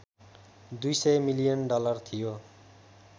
२०० million dollar थियो